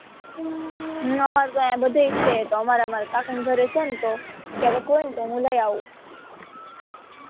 ન અમારે તો અહ્યા બધે છે તો અમારે કાકા ના ઘરે છે ને તો ક્યારેક હોય ને તો હું લઇ આવું